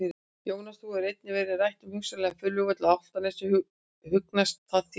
Jóhannes: Nú hefur einnig verið rætt um hugsanlegan flugvöll á Álftanes, hugnast það þér?